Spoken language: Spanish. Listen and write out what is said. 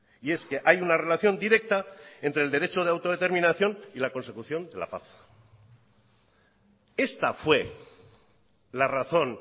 y es que hay una relación directa entre el derecho de autodeterminación y la consecución de la paz esta fue la razón